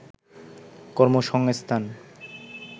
কর্মসংস্থান